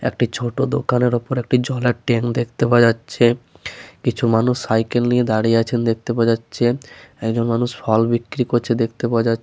একটি ছোট দোকানের ওপর জলের ট্যাঙ্ক দেখতে পাওয়া যাচ্ছে । কিছু মানুষ সাইকেল নিয়ে দাঁড়িয়ে আছেন দেখতে পাওয়া যাচ্ছে । একজন মানুষ ফল বিক্রি করছেন দেখতে পাওয়া যা--